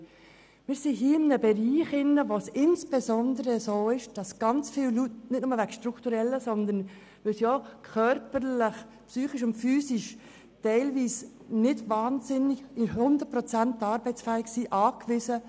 : Wir bewegen uns hier in einem Bereich, in welchem viele Personen nicht nur aus strukturellen, sondern auch aus physischen und psychischen Gründen nicht hundertprozentig arbeitsfähig sind.